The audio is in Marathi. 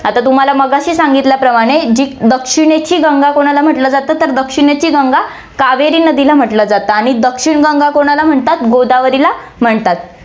आता तुम्हाला मगाशी सांगितल्याप्रमाणे जी दक्षिणेची गंगा कोणाला म्हंटलं जातं, तर दक्षिणेची गंगा कावेरी नदीला म्हंटलं जातं आणि दक्षिण गंगा कोणाला म्हणतात, गोदावरीला म्हणतात.